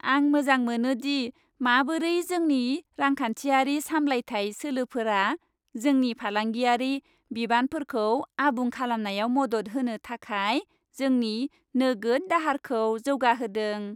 आं मोजां मोनोदि माबोरै जोंनि रांखान्थियारि सामलायथाय सोलोफोरा जोंनि फालांगियारि बिबानफोरखौ आबुं खालामनायाव मदद होनो थाखाय जोंनि नोगोद दाहारखौ जौगाहोदों।